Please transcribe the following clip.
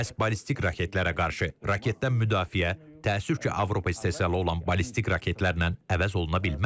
Məhz ballistik raketlərə qarşı raketdən müdafiə, təəssüf ki, Avropa istehsalı olan ballistik raketlərlə əvəz oluna bilməz.